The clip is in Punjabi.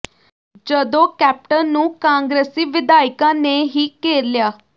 ਜਦੋਂ ਕੈਪਟਨ ਨੂੰ ਕਾਂਗਰਸੀ ਵਿਧਾਇਕਾਂ ਨੇ ਹੀ ਘੇਰ ਲਿਆ